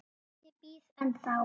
Ég bíð ennþá!